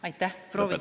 Aitäh!